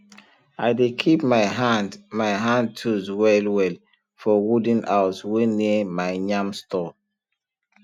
i dey keep my hand my hand tools well well for wooden house wey near my yam store